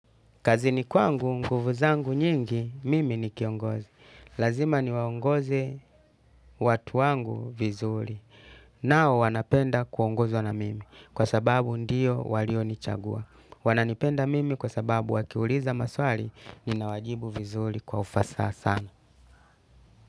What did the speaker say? Kazini kwangu nguvu zangu nyingi mimi ni kiongozi. Lazima ni waongoze watu wangu vizuri. Nao wanapenda kuongozwa na mimi kwa sababu ndiyo walio nichagua. Wananipenda mimi kwa sababu wakiuliza maswali, ninawajibu vizuri kwa ufasasa.